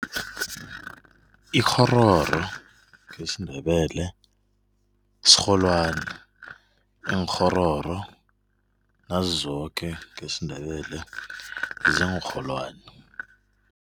Ikghororo ngesiNdebele sirholwani. Iinkghororo nazizoke ngesiNdebele, ziinrholwani.